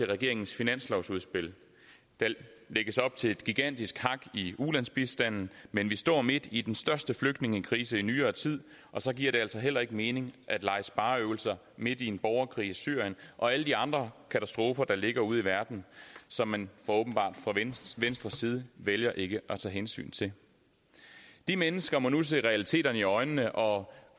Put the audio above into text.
regeringens finanslovsudspil der lægges op til et gigantisk hak i ulandsbistanden men vi står midt i den største flygtningekrise i nyere tid og så giver det altså heller ikke mening at lege spareøvelse midt i en borgerkrig i syrien og alle de andre katastrofer der ligger ude i verden som man åbenbart fra venstres side vælger ikke at tage hensyn til de mennesker må nu se realiteterne i øjnene og